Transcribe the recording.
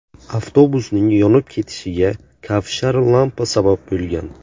Avtobusning yonib ketishiga kavshar lampa sabab bo‘lgan .